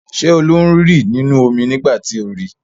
Ṣé Olú ń rì nínú omi nígbà tí o ri?